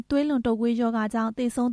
သွေးလွန်တုပ်ကွေးကြောင့် သေဆုံး